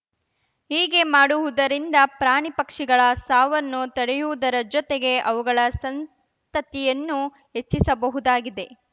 ಹೀಗೆ ಮಾಡುವುದರಿಂದ ಪ್ರಾಣಿ ಪಕ್ಷಿಗಳ ಸಾವನ್ನು ತಡೆಯುವುದರ ಜೊತೆಗೆ ಅವುಗಳ ಸಂತತಿಯನ್ನು ಹೆಚ್ಚಿಸಬಹುದಾಗಿದೆ